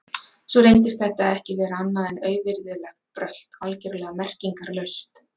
Svo reyndist þetta ekki vera annað en auvirðilegt brölt, algjörlega merkingarlaust.